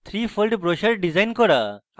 3fold brochure design করা